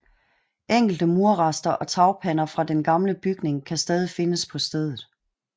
Enkelte murrester og tagpander fra den gamle bygning kan stadig findes på stedet